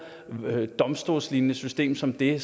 domstolslignende system som det